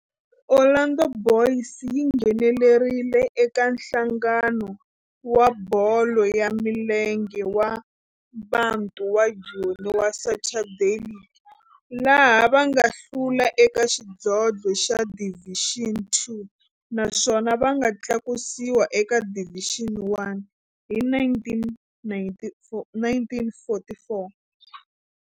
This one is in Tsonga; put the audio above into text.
Orlando Boys yi nghenelerile eka Nhlangano wa Bolo ya Milenge wa Bantu wa Joni wa Saturday League, laha va nga hlula eka xidlodlo xa Division Two naswona va nga tlakusiwa eka Division One hi 1944.